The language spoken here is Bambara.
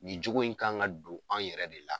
Nin cogo in kan ka don an yɛrɛ de la.